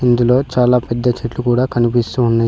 ఇందులో చాలా పెద్ద చెట్లు కూడా కనిపిస్తూ ఉన్నయి.